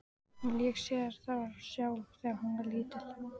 Hún lék sér þar sjálf þegar hún var lítil.